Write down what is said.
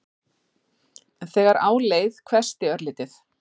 En þegar á leið hvessti örlítið.